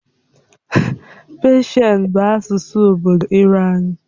Pesian bụ asụsụ obodo Iran.